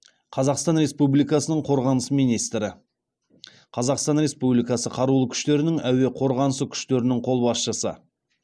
қазақстан республикасының қорғаныс министрі қазақстан республикасы қарулы күштерінің әуе қорғанысы күштерінің қолбасшысы